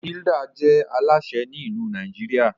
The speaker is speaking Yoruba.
Hilda je Alásè Ni ilu Nàìjíríà